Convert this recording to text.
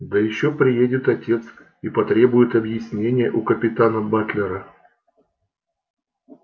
да ещё приедет отец и потребует объяснения у капитана батлера